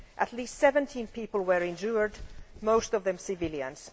At least 17 people were injured, most of them civilians.